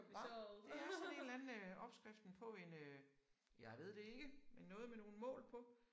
Hva? Det er sådan en eller anden øh opskriften på en øh jeg ved det ikke men noget med nogle mål på